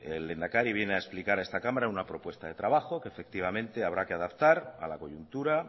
el lehendakari viene a explicar a esta cámara una propuesta de trabaja que efectivamente habrá que adaptar a la coyuntura